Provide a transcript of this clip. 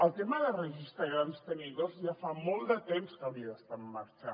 el tema del registre de grans tenidors ja fa molt de temps que hauria d’estar en marxa